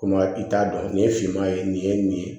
Komi i t'a dɔn nin ye finman ye nin ye nin ye